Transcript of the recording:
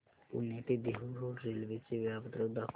पुणे ते Dehu road railway चे वेळापत्रक दाखव